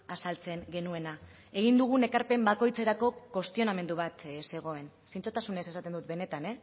azaltzen genuena egin dugun ekarpen bakoitzerako kuestionamendu bat zegoen zintzotasunez esaten dut benetan